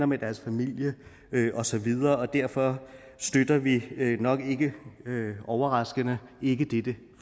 med deres familie og så videre derfor støtter vi nok ikke overraskende ikke dette